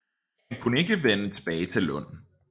Han kunne ikke vende tilbage til Lund